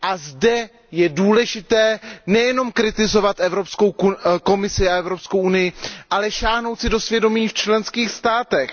Zde je důležité nejenom kritizovat Evropskou komisi a Evropskou unii, ale sáhnout si do svědomí v členských státech.